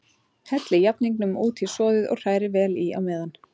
Hellið jafningnum út í soðið og hrærið vel í á meðan.